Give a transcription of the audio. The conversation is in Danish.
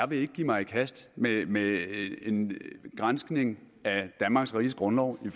vil give mig i kast med med en granskning af danmarks riges grundlov i